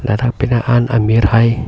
ladak penang an amir hai--